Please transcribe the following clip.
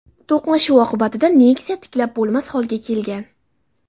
To‘qnashuv oqibatida Nexia tiklab bo‘lmas holga kelgan.